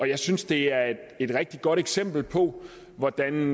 jeg synes det er et rigtig godt eksempel på hvordan